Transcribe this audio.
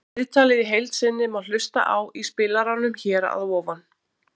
Viðtalið í heild sinni má hlusta á í spilaranum hér að ofan